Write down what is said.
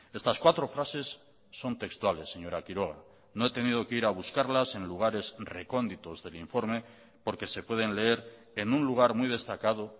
estas cuatro frases son textuales señora quiroga no he tenido que ir a buscarlas en lugares recónditos del informe porque se pueden leer en un lugar muy destacado